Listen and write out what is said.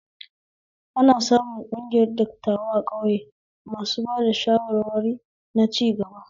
Akan sami ƙungiyar dattawa a ƙauye masu ba da shawarwari na cigaba